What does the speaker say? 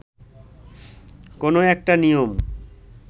কোনো একটা নিয়ম